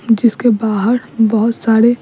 जिसके बाहर बहुत सारे --